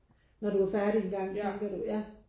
Når du er færdig engang tænker du ja